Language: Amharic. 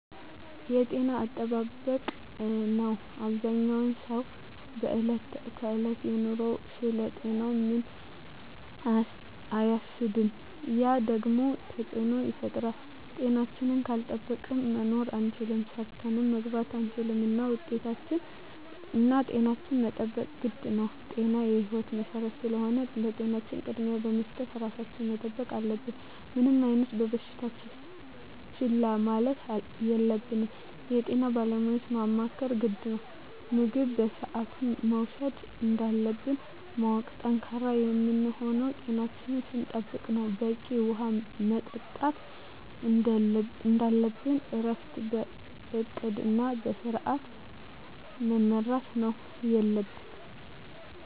የጤና አጠባበቅ ነው አበዛኛው ሰው በዕለት ከዕለት ኑሮው ስለ ጤናው ምንም አያስብም ያ ደግሞ ተፅዕኖ ይፈጥራል። ጤናችን ካልጠበቅን መኖር አንችልም ሰርተን መግባት አንችልም እና ጤናችን መጠበቅ ግድ ነው ጤና የህይወት መሰረት ስለሆነ ለጤናችን ቅድሚያ በመስጠት ራሳችን መጠበቅ አለብን። ምንም አይነት በሽታ ችላ ማለት የለብንም የጤና ባለሙያዎችን ማማከር ግድ ነው። ምግብ በስአቱ መውሰድ እንዳለብን ማወቅ። ጠንካራ የምንሆነው ጤናችን ስንጠብቅ ነው በቂ ውሀ መጠጣት እንደለብን እረፍት በእቅድ እና በስዐት መመራት ነው የለብን